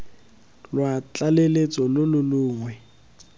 lwa tlaleletso lo lo longwe